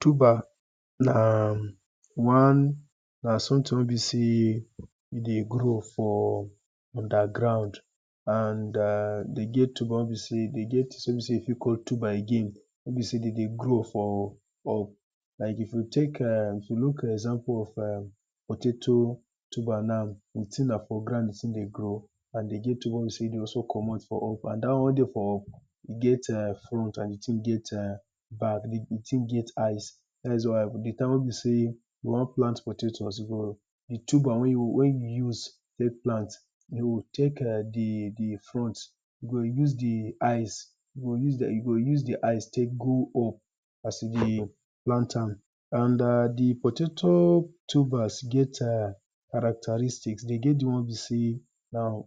Tuber na one na something ey be sey e dey grow for underground and dem get tuber dem get something wey be sey you fit call tuber again wey be sey dem dey grow for up, like if you take [urn] you you look example of potato tuber now, di thing na for ground di thing dey grow and e get di one wey be sey e dey also komot for up, and dat one wey dey komot for up e get front and e get back, di thing dey get eyes, dat is why di time wey be sey you wan plant potato you suppose di tuber wey you wey you use take plant go take [urn] di di di food you go use di eyes, you go use di eyes take plant go up as you dey plant am and di potato tubers get characteristics dem get di one wey be sey na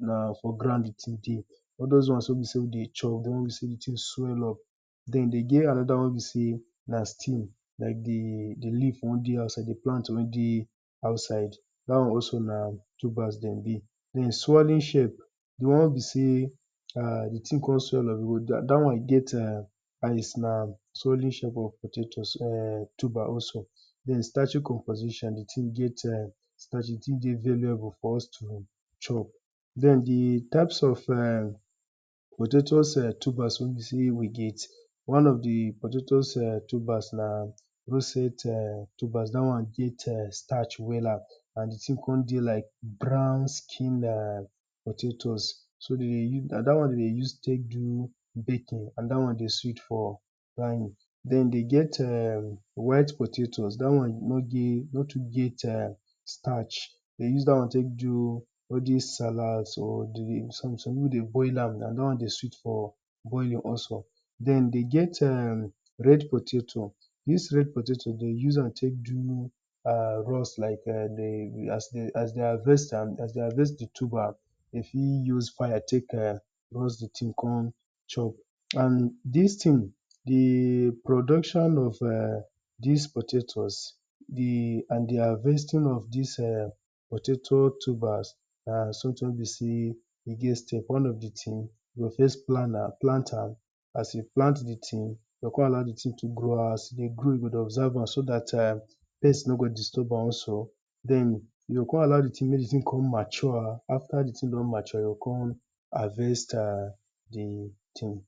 na for ground di thing dey, a l l doz one wey be sey we dey chop wey do thing swell up, den dem get another one wey be sey na stew, dat di leave wey dey outside as dem dey plant di one wen dey outside, dat one also na tubers dem be. Den swelling shape di one wen come be sey di thing swell up dat one get [urn] dat is na swelling shape of potato also den starchy composition di thing get [urn] starch di thing very able for us to chop. Den di types of potato tubers wey be sey we get, one of di potato tubers na rosette tubers dat one get starch wella and di thing come dey like brown skin potatoes, so dem dey use, na dat one dem dey use take do baking, and dat one dey sweet for frying den e get white potatoes dat one nor dey, nor too get starch dem use dat one take do all this salad, some people dey boil am na dat one dey sweet for boiling also. Den dem get [urn] red potato dis red potato dem use am take do roast like as dem harvest am as dem harvest di tuber dem fit use fire take roast di thing come chop and dis thing, di production of dis potatoes, di and di harvesting of dis potato tubers an something wey be sey e get step, one of di thing, you go first plan am, plant am as you plant di thing, you go come allow di thing to grow as e dey grow you go dey observe am so dat pest no go disturb am also, den you go come allow di thing make di thing come mature den after di thing don mature, you go come harvest di thing.